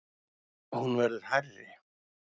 Hún verði hærri.